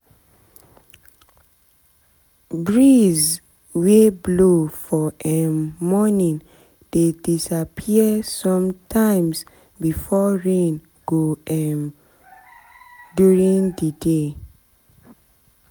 breeze we blow for um morning dey disappear sometimes before rain go um during the day